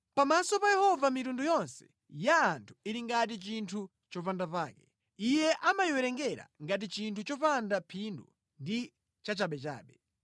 Pamaso pa Yehova mitundu yonse ya anthu ili ngati chinthu chopandapake; Iye amayiwerengera ngati chinthu chopanda phindu ndi cha chabechabe.